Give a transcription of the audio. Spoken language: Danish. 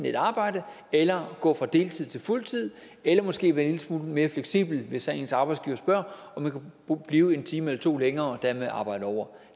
et arbejde eller gå fra deltid til fuld tid eller måske være en lille smule mere fleksibel hvis ens arbejdsgiver spørger om man kan blive en time eller to længere og dermed arbejde over